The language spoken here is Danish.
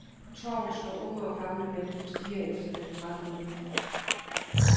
På torvet står unge og gamle mænd og stirrer efter den fremmede bil.